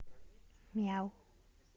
мяу